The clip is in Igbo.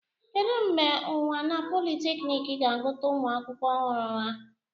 Kedu mgbe unwana polytechnic ga-agụta ụmụ akwụkwọ ọhụrụ ya?